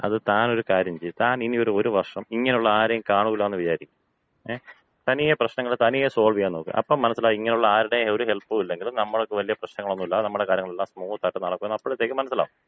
അത്, താനൊരു കാര്യം ചെയ്യ്. താനിനി ഒരു ഒരു വർഷം ഇങ്ങനെയുള്ള ആരെയും കാണൂല എന്ന് വിചാരിക്ക്. ങേ. തനിയെ പ്രശ്നങ്ങള് തനിയെ സോൾവ് ചെയ്യാൻ നോക്ക്. അപ്പൊ മനസ്സിലാകും ഇങ്ങനെയുള്ള ആരുടെയും ഒരു ഹെൽപ്പും ഇല്ലെങ്കിലും നമ്മള്ക്ക് വലിയ പ്രശ്നങ്ങളൊന്നുമില്ലാതെ നമ്മുടെ കാര്യങ്ങളെല്ലാം സ്മൂത്ത് ആയി നടക്കുമെന്ന് അപ്പോഴത്തേക്കും മനസ്സിലാവും.